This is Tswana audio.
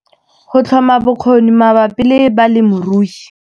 Go tlhoma bokgoni mabapi le balemirui.